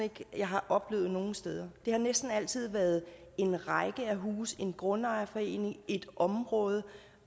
jeg har oplevet nogen steder det har næsten altid været en række husejere en grundejerforening et område